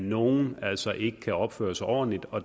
nogen altså ikke kan opføre sig ordentligt og